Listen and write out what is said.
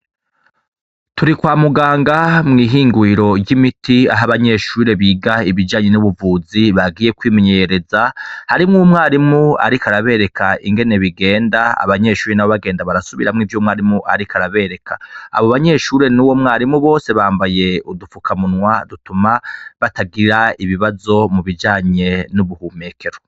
Turi kwa muganga mwihinguriro ryimiti aho abanyeshuri biga ibijanye n'ubuvuzi bagiye kwimenyereza harimwo umwarimu ariko arabereka ingene bigenda abanyeshure nabo bagenda barasubiramwo ivyo umwarimu ariko arabereka abo banyeshure nuwo mwarimu bose bambaye udufukamunwa dutuma batagira ibibazo mubijanye nubuhumekero.